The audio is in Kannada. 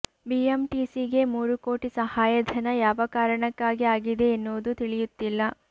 ಬಿಎಂಟಿಸಿಗೆ ಮೂರು ಕೋಟಿ ಸಹಾಯಧನ ಯಾವ ಕಾರಣಕ್ಕಾಗಿ ಆಗಿದೆ ಎನ್ನುವುದು ತಿಳಿಯುತ್ತಿಲ್ಲ